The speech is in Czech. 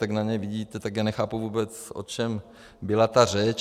Tak na něj vidíte, tak já nechápu vůbec, o čem byla ta řeč.